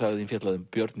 þín fjallaði um Björn